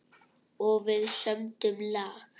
Og við sömdum lag.